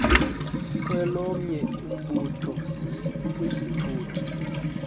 kwelomnye umbutho kwisithuthi